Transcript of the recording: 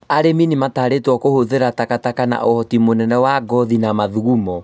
Arĩmi nĩmatarĩtwo kũhũthĩra taka taka na ũhoti mũnene wa ngothi na mathugumo